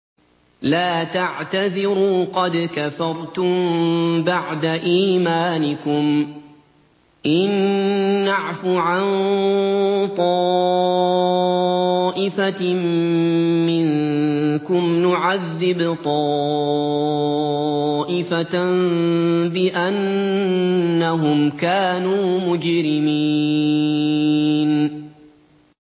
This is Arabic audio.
لَا تَعْتَذِرُوا قَدْ كَفَرْتُم بَعْدَ إِيمَانِكُمْ ۚ إِن نَّعْفُ عَن طَائِفَةٍ مِّنكُمْ نُعَذِّبْ طَائِفَةً بِأَنَّهُمْ كَانُوا مُجْرِمِينَ